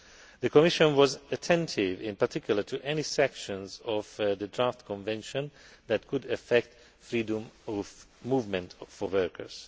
The Commission was attentive, in particular, to any sections of the draft convention that could affect freedom of movement for workers.